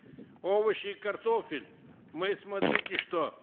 овощи и картофель мы смотрите что